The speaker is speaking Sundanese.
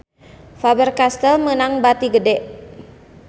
Faber Castel meunang bati gede